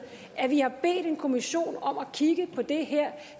at vi har bedt en kommission om at kigge på det her